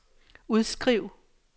udskriv